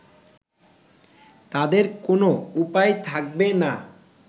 তাদের কোন উপায় থাকবে না